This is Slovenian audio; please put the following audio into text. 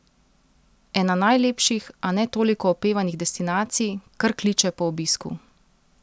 Ena najlepših, a ne toliko opevanih destinacij, kar kliče po obisku.